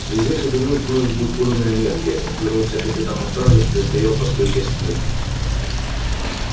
через несколько минут вновь будет подана энергия он повернулся к капитану стражи который стоял по стойке смирно